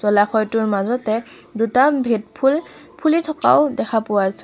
জলাশয়টোৰ মাজতে দুটা ভেট ফুল ফুলি থকাও দেখিবলৈ পোৱা যা--